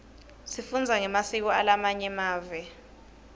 sifundza ngemasiko alamanye mave